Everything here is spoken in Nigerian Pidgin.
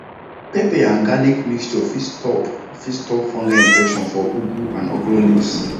pepper and garlic mixture fit stop fit stop fungal infection for ugu and okra leaves